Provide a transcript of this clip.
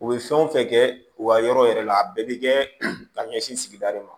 U bɛ fɛn o fɛn kɛ u ka yɔrɔ yɛrɛ la a bɛɛ bɛ kɛ ka ɲɛsin sigida de ma